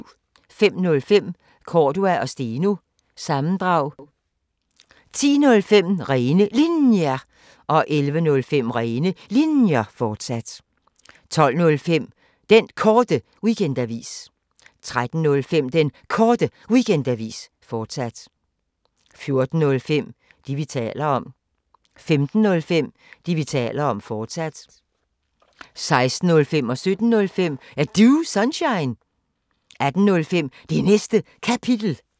05:05: Cordua & Steno – sammendrag 10:05: Rene Linjer 11:05: Rene Linjer, fortsat 12:05: Den Korte Weekendavis 13:05: Den Korte Weekendavis, fortsat 14:05: Det, vi taler om 15:05: Det, vi taler om, fortsat 16:05: Er Du Sunshine? 17:05: Er Du Sunshine? 18:05: Det Næste Kapitel